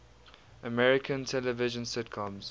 american television sitcoms